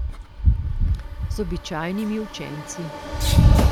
Z običajnimi učenci.